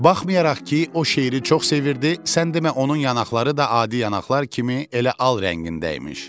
Baxmayaraq ki, o şeiri çox sevirdi, sən demə onun yanaqları da adi yanaqlar kimi elə al rəngində imiş.